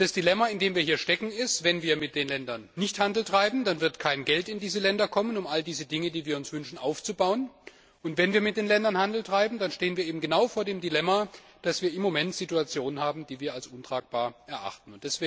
Das Dilemma, in dem wir hier stecken besteht darin, dass wenn wir mit den Ländern keinen Handel treiben, auch kein Geld in diese Länder kommt, um all diese Dinge, die wir uns wünschen, aufzubauen. Und wenn wir mit den Ländern Handel treiben, dann stehen wir eben genau vor dem Dilemma, dass wir im Moment Situationen haben, die wir als untragbar erachten.